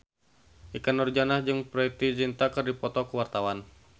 Ikke Nurjanah jeung Preity Zinta keur dipoto ku wartawan